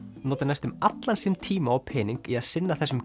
notar næstum allan sinn tíma og pening í að sinna þessum